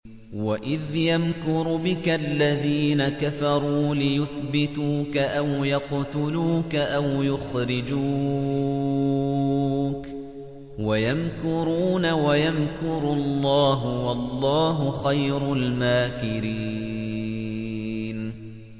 وَإِذْ يَمْكُرُ بِكَ الَّذِينَ كَفَرُوا لِيُثْبِتُوكَ أَوْ يَقْتُلُوكَ أَوْ يُخْرِجُوكَ ۚ وَيَمْكُرُونَ وَيَمْكُرُ اللَّهُ ۖ وَاللَّهُ خَيْرُ الْمَاكِرِينَ